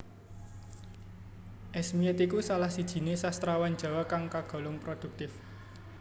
Esmiet iku salah sijiné sastrawan Jawa kang kagolong produktif